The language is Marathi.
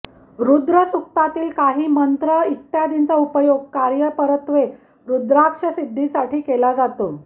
ररुद्रसुक्तातील काही मंत्र इत्यादींचा उपयोग कार्यपरत्वे रुद्राक्ष सिद्धीसाठी केला जातो